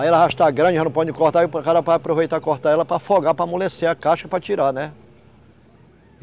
Aí ela já está grande, já não pode cortar, aí o cara vai aproveitar e corta ela pra afogar, pra amolecer a casca, pra tirar, né?